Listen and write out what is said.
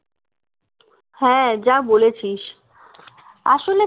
হ্যাঁ যা বলেছিস আসলে